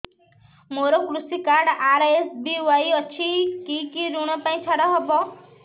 ମୋର କୃଷି card RSBY ଅଛି କି କି ଋଗ ପାଇଁ ଛାଡ଼ ହବ